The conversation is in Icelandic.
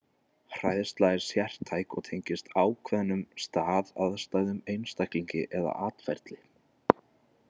Hræðsla er sértæk og tengist ákveðnum stað, aðstæðum, einstaklingi eða atferli.